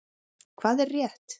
Hvað er rétt?